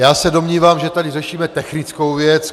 Já se domnívám, že tady řešíme technickou věc.